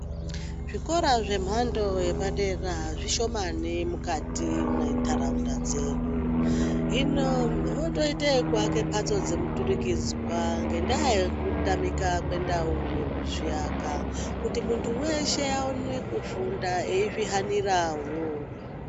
Zvikora zvemhando yepadera zvishomani mukati mwendaraunda dzedu hino votoite yekuake mbatso muturikidzwa ngendaa yekutamika kwendau yekuzviaka kuti muntu weshe aone kufunda eyizvihanirawo.